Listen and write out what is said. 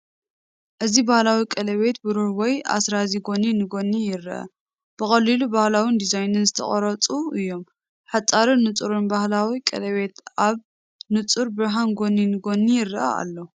ኣብዚ ባህላዊ ቀለቤት ብሩር ወይ ኣስራዚ ጎኒ ንጎኒ ይረአ። ብቐሊልን ባህላውን ዲዛይን ዝተቐርጹ እዮም። ሓጻርን ንጹርን፡ ባህላዊ ቀለቤት ኣብ ንጹር ብርሃን ጎኒ ንጎኒ ይረአ ኣሎ።